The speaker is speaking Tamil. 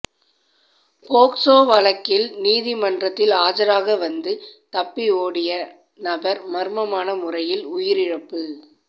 போக்சோ வழக்கில் நீதிமன்றத்தில் ஆஜராக வந்து தப்பி ஓடிய நபர் மர்மமான முறையில் உயிரிழப்பு